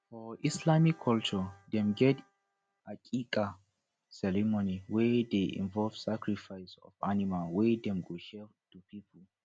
for islamic culture dem get aqiqah ceremony wey de involve sacrifice of animal wey dem go share to pipo